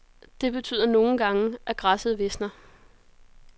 Det betyder nogle gange, at græsset visner.